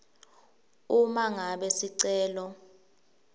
uma ngabe sicelo